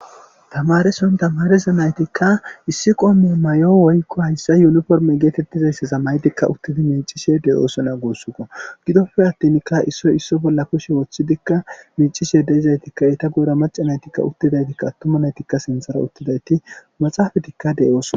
Tamareson tamarizo naytikka issi qoome may7o woykko hayssa yuniforme geetettizaysseza maydikka uttidi mincishe deyoosona goossunka gidoppe attinka issoy isso bolla kushe woththidikka mincishe deizaytikka ita goura maca naytikka uttidaytikka attuma naytikka sinthara uttidayti maxaafadikka deyoosona